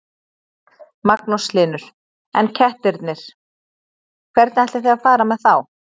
Magnús Hlynur: En kettirnir, hvernig ætlið þið að fara með þá?